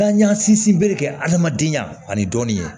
N'an y'an sinsin bere kɛ adamadenya ani dɔɔni ye